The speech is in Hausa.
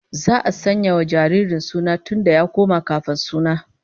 Za'a sanya wa jaririn suna duk da ya koma kafin suna